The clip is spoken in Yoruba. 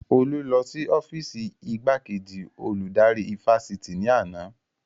Olú lọ sí ọ́fììsì igbákejì olùdarí ifásitì ní àná